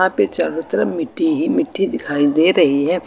चारों तरफ मिट्टी ही मिट्टी दिखाई दे रही है।